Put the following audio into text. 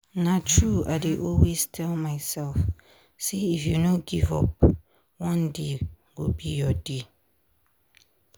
na true i dey always tell myself say if you no give up one day go be your day.